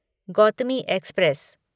Gautami express